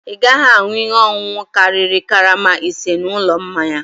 Ị gaghị aṅụ ihe ọṅụṅụ karịrị karama ise n'ụlọ mmanya a!